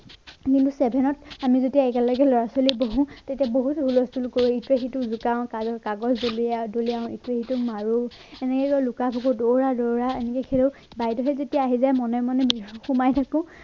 কিন্তু seven ত আমি যেতিয়া একেলগে লৰা ছোৱালী বহু তেতিয়া বহুত হুলস্থূল কৰি ইটোৱে সিটোক জোকাও আৰু কাগজ দলিয়া দলিয়াও ইটোৱে সিটোক মাৰো এনেকে লুকা ভাকু দৌৰা দৌৰা এনেকে খেলো বাইদেউ যেতিয়া আহি যায় মনে মনে সোমাই থাকো।